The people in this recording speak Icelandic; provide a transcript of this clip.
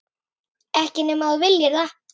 Ekki nema þú viljir það.